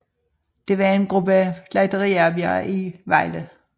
Det var en gruppe slagteriarbejdere i Vejle